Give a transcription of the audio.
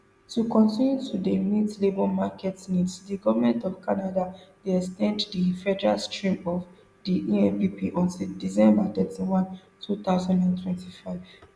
to continue to dey meet labour market needs di goment of canada dey ex ten d di federal stream of di empp until december thirty-one two thousand and twenty-five